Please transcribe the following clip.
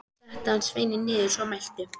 Setti hann sveininn niður að svo mæltu.